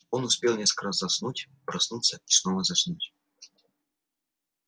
он успел несколько раз заснуть проснуться и снова заснуть